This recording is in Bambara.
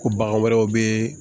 Ko bagan wɛrɛw bɛ